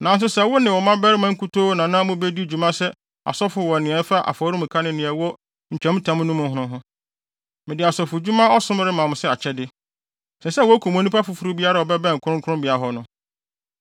Nanso wo ne wo mmabarima nkutoo na na mubedi dwuma sɛ asɔfo wɔ nea ɛfa afɔremuka ne nea ɛwɔ ntwamtam no mu no ho. Mede asɔfodwuma ɔsom rema mo sɛ akyɛde. Ɛsɛ sɛ wokum onipa foforo biara a ɔbɛbɛn kronkronbea hɔ no.”